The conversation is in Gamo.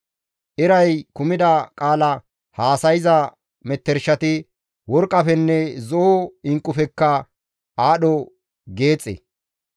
Eray kumida qaala haasayza metershati worqqafenne zo7o inqqufekka aadho geexe.